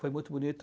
Foi muito bonito.